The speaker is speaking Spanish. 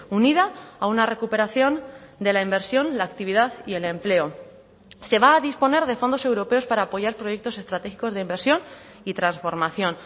unida a una recuperación de la inversión la actividad y el empleo se va a disponer de fondos europeos para apoyar proyectos estratégicos de inversión y transformación